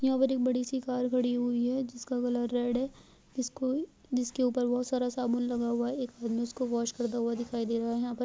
यहाँ पर एक बड़ी - सी कार खड़ी हुई है जिसका कलर रेड है जिसके ऊपर बहुत सारा साबुन लगा हुआ है एक आदमी उसको वॉश करता हुआ दिखाई दे रहा हैं यहां पर --